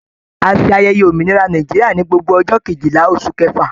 A ṣe ayẹyẹ òmìnira Nàìjíríà ní gbogbo ọjọ Kejìlá oṣù kẹfà.